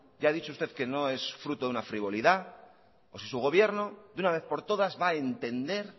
ya ha dicho usted que no es fruto de una frivolidad o si su gobierno de una vez por todas va a entender